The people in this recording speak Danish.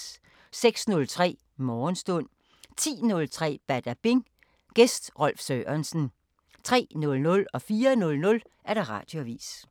06:03: Morgenstund 10:03: Badabing: Gæst Rolf Sørensen 03:00: Radioavisen 04:00: Radioavisen